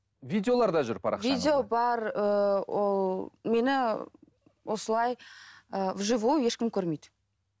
видеолар да жүр парақшаңызда видео бар ыыы ол мені осылай ыыы в живую ешкім көрмейді